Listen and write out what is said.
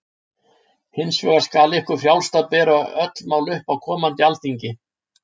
Hins vegar skal ykkur frjálst að bera öll mál upp á komandi alþingi.